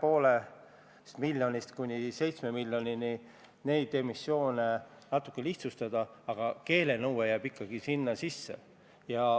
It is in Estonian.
On õige ja hea, et kõikide Euroopa Liidu riikide meresõiduohutusalased seadused on ühtlustatud ja üle võetud kõikide riikide õigusesse.